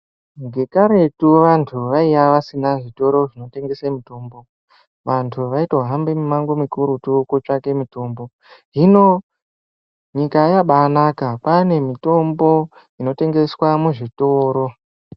Vekaretu vanhu vaiysa vasina zvitoro zvinotengesa mitombo. Vantu vaitohambe mimango mikurutu kutsvake mitombo. Hino nyika yabaanaka, kwaane mitombo inotengeswa muzvitoro.